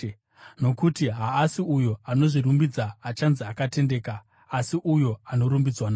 Nokuti haasi uyo anozvirumbidza achanzi akatendeka, asi uyo anorumbidzwa naShe.